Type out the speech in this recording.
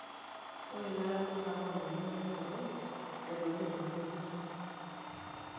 Ore ilaramatak oota enduata nabo naitobir iltururi.